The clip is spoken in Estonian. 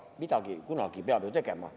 Midagi peab ju kunagi tegema.